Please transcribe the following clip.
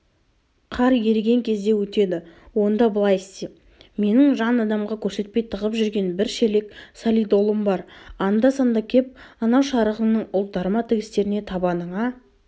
қар еріген кезде өтеді онда былай істе менің жан адамға көрсетпей тығып жүрген бір шелек солидолым бар анда-санда кеп анау шарығыңның ұлтарма тігістеріне табаныңа